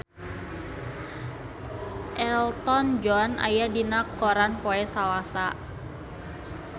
Elton John aya dina koran poe Salasa